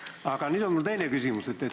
Aga nüüd on mul teine küsimus.